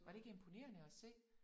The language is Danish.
Var det ikke imponerende at se?